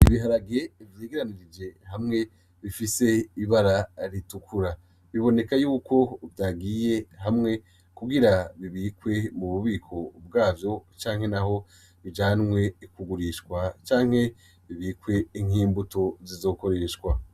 Ibiharage vyegeranije hamwe bifise ibara ritukura. Biboneka yuko vyagiye hamwe kugira bibikwe mu bubiko bwavyo, canke naho bijanwe kugurishwa, canke bibikwe nk'imbuto zizokoreshwa.